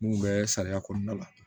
Mun bɛ sariya kɔnɔna la